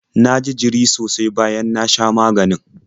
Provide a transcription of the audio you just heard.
Na ji jiri sosai bayan na sha maganin.